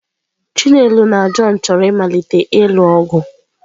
Chinelo na John chọrọ ịmalite ịlụ ọgụ.